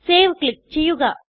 save click ചെയ്യുക